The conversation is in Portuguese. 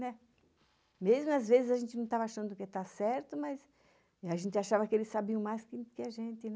Mesmo às vezes a gente não estava achando que estava certo, mas a gente achava que eles sabiam mais do que a gente.